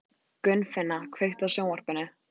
Gunnfinna, kveiktu á sjónvarpinu.